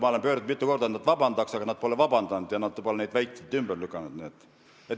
Ma olen mitu korda nende poole pöördunud, et nad vabandust paluksid, aga nad pole seda teinud, ja nad pole neid väiteid ka ümber lükanud.